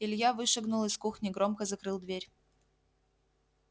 илья вышагнул из кухни громко закрыл дверь